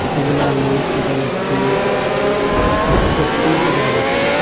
কতগুলা লোক দেখা যাচ্ছে একটি দেখা যাচ্ছে।